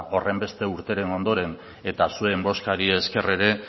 horrenbeste urteren ondoren eta zuen bozkari esker ere